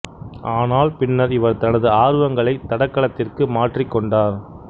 ஆனால் பின்னர் இவர் தனது ஆர்வங்களை தடகளத்திற்கு மாற்றிக் கொண்டார்